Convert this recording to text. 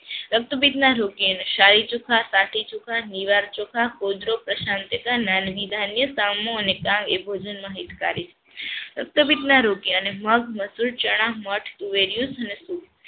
રોગ્ત્પિતના રોગી ને સાહી ચોખા, સાથી ચોખા, નીવાર ચોખા, , નેન્હિધાન્ય, સમહો અને એ ભોજનમાં હિતકારી છે. રક્તપિતના રોગીઑને મગ, મસૂર, ચણા, મઠ, તુવેર ભોજાનમાં